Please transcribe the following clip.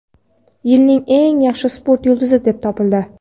"Yilning eng yaxshi sport yulduzi" deb topildi.